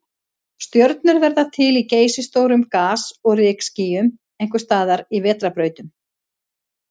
Stjörnur verða til í geysistórum gas- og rykskýjum, einhvers staðar í vetrarbrautunum.